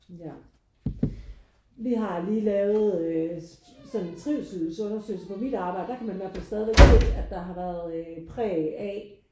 Ja vi har lige lavet øh sådan en trivselsundersøgelse på mit arbejde. Der kan man i hvert fald stadigvæk se at der har været øh præg af